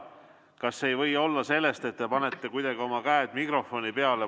Kas see ei või olla sellest, et te panete kuidagi oma käed mikrofoni peale.